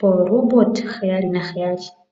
poRoot 77.